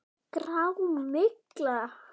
Grá. mygla!